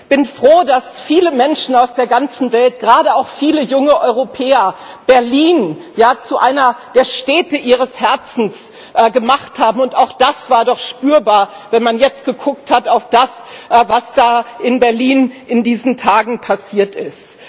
Ich bin froh, dass viele Menschen aus der ganzen Welt, gerade auch viele junge Europäer Berlin zu einer der Städte ihres Herzens gemacht haben, und auch das war doch spürbar, wenn man jetzt geguckt hat auf das, was da in Berlin in diesen Tagen passiert ist.